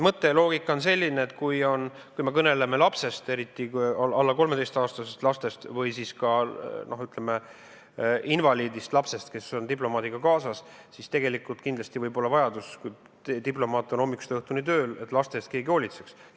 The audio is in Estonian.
Mõte ja loogika on selline, et kui me kõneleme lapsest, eriti alla 13-aastasest lapsest või ka invaliidist lapsest, kes on diplomaadiga kaasas, siis võib kindlasti olla vajadus, et kui diplomaat on hommikust õhtuni tööl, siis lapse eest keegi hoolitseks.